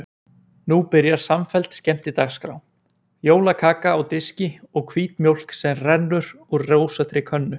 Nú byrjar samfelld skemmtidagskrá: jólakaka á diski og hvít mjólk sem rennur úr rósóttri könnu.